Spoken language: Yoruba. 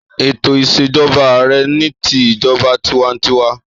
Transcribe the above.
Ètò ìsèjoba ààrẹ ni ti ìjoba tiwantiwa.